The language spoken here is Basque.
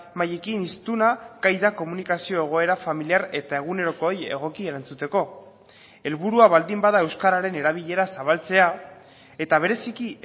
mailekin hiztuna gai da komunikazio egoera familiar eta egunerokoei egoki erantzuteko helburua baldin bada euskararen erabilera zabaltzea eta bereziki